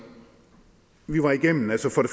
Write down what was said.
vi var igennem